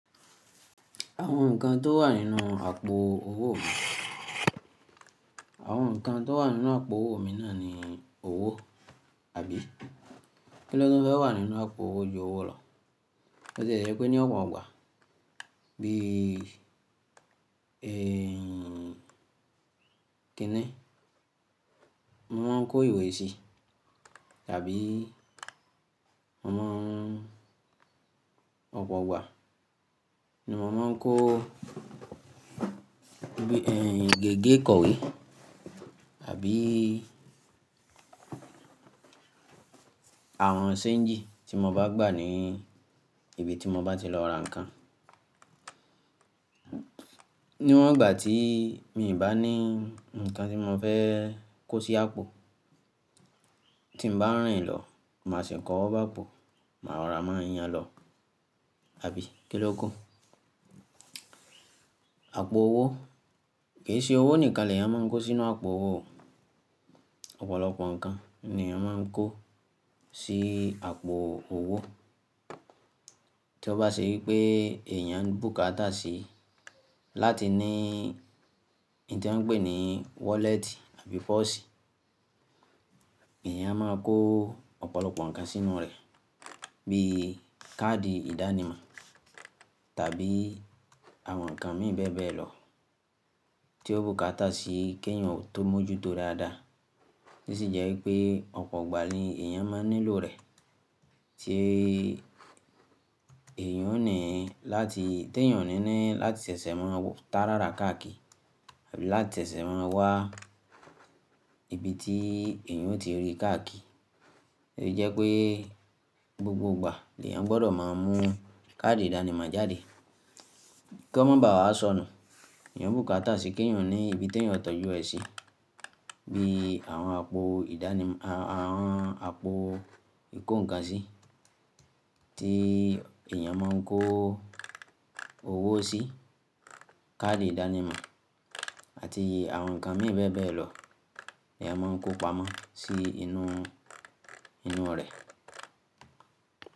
Àwọn ǹkan tó wà nínú àpò owó mi, àwọn ǹkan tó wà nínú àpò owó mi náà ni owó, àbí kí le fẹ́ wà nínú àpò owó ju owó lọ? Bo ti e jẹ́ pé ni ọ̀pọ̀ ọgbà bíi, kíni? Mo máa ń kó ìwé sí tàbí mo má ń ọ̀pọ̀ igbà, ni mo máa ń kó bií ẹ́ń, gègé ìkọ̀wé àbí àwọn ṣéǹjì tí mo bá gbà ní ibi tí mo bá ti lọ ra ǹkan. Ni wọ́n ìgbà tí mii bá ní ǹkan tí mo fẹ́ kó sí àpò, tí mo bá rìn lọ, màá sì k'owo báa pọ̀, màá rora máa yan lọ, àbí kín loku? Àpò owó, kì í ṣe owó nìkan ni èèyàn máa ń kó sínú àpò owó. Ọ̀pọ̀lọpọ̀ ǹkan ni èèyàn máa ń kó sí àpò owó. Tí ó bá ṣe wípé èèyàn bùkátà sí láti ní n tí wọ́n ń pè ní wọ́lẹ́tì àbí pọ́ọ̀sì, èèyàn máa kó ọ̀pọ̀lọpọ̀ ǹkan sínú rẹ̀ bí í káàdì ìdánimọ̀ tàbí àwọn ǹkan mìí bẹ́ẹ̀bẹ́ẹ̀ lọ tí ó bùkátà sí kí èèyàn tó mọ́jú tó dáadáa. Bosì jẹ́ wipé ọ̀pọ̀ ìgbà ni èèyàn máa nílò rẹ̀ tí èèyàn ó ní láti, tí èèyàn ó ní ní láti ṣẹ̀ṣẹ̀ máa tàárara káàkì àbí láti ṣẹ̀ṣẹ̀ máa wá ibi tí èèyàn ó ti rí káàkì. Ó jẹ́ pé gbogbo ìgbà ni èèyàn gbọdọ̀ máa mú káàdì ìdánimọ̀ jáde kí wọ́n má bàá sọnù. Èèyàn bùkátà sí kí èèyàn ní ibi tí èèyàn tọ́jú ẹ sí bí àwọn àpò ìdánim-àwọn àpò ìkó ǹkan sí tí èèyàn máa ń kó owó sí, káàdì ìdánimọ̀ àti àwọn ǹkan mìí bẹ́ẹ̀bẹ́ẹ̀ lọ. Eèyàn máa ń kó pamọ́ sí inú inu rẹ̀.